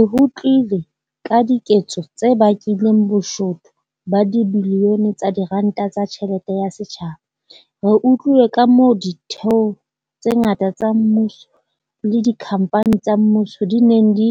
Re utlwile ka diketso tse bakileng boshodu ba dibilione tsa diranta tsa tjhelete ya setjhaba. Re utlwile kamoo ditheo tse ngata tsa mmuso le dikhamphani tsa mmuso di neng di